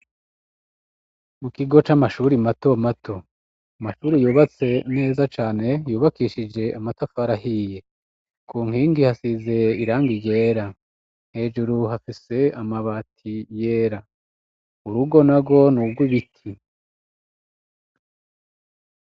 Mu kigo c'amashuri mato mato, amashuri yubatse neza cane yubakishije amatafari ahiye ku nkingi hasize irangi ryera hejuru hafise amabati yera urugo narwo n'urwibiti.